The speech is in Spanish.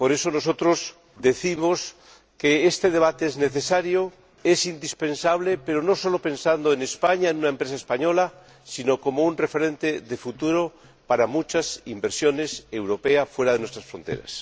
Por eso, nosotros decimos que este debate es necesario e indispensable, pero no solo pensando en España en una empresa española sino como un referente de futuro para muchas inversiones europeas fuera de nuestras fronteras.